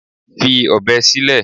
Fi ọ̀bẹ sílẹ̀!